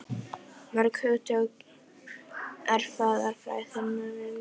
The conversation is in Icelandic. Mörg hugtök erfðafræðinnar eru ekki almennt á vörum fólks.